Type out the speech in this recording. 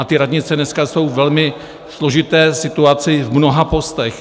A ty radnice dneska jsou ve velmi složité situaci v mnoha postech.